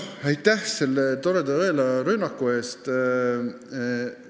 Aitäh selle toreda õela rünnaku eest!